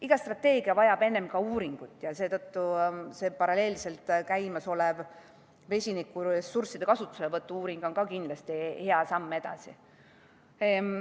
Iga strateegia vajab enne uuringut ja seetõttu see paralleelselt käimasolev vesinikuressursside kasutuselevõtu uuring on kindlasti hea samm edasi.